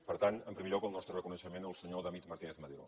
per tant en primer lloc el nostre reconeixement al senyor david martínez madero